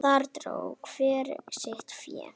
Þar dró hver sitt fé.